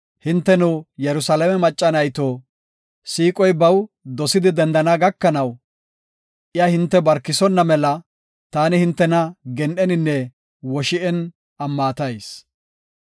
Hinteno Yerusalaame macca nayto, siiqoy baw dosidi dendana gakanaw, iya hinte barkisonna mela taani hintena gen7eninne woshi7en ammatayis.